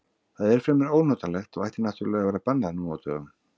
Það er fremur ónotalegt og ætti náttúrlega að vera bannað nú á dögum.